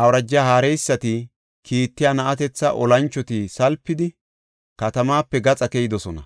Awuraja haareysati kiittiya na7atetha olanchoti salpidi, katamaape gaxa keyidosona;